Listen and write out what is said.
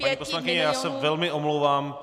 Paní poslankyně, já se velmi omlouvám.